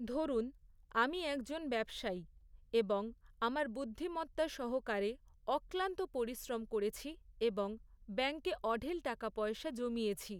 ধরুন, আমি একজন ব্যবসায়ী, এবং আমার বুদ্ধিমত্তা সহকারে অক্লান্ত পরিশ্রম করেছি এবং ব্যাঙ্কে অঢেল টাকা পয়সা জমিয়েছি।